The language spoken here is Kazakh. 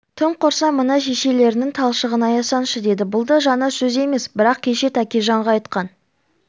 тым құрса мына шешелеріңнің талшығын аясаңшы деді бұл да жаңа сөз емес бірақ кеше тәкежанға айтқан